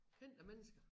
Kendte mennesker